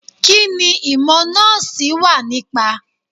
Kí ni ìmọ̀ Nọ́ọ̀sì wà nípa.?